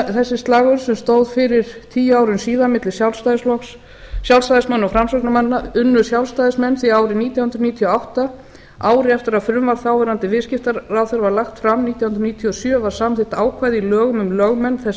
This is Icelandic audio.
þessi slagorð stóðu fyrir tíu árum síðan milli sjálfstæðismanna og framsóknarmanna unnu sjálfstæðismenn því árið nítján hundruð níutíu og átta ári eftir að frumvarp þáv viðskiptaráðherra var lagt fram nítján hundruð níutíu og sjö var samþykkt ákvæði í lögum um lögmenn þess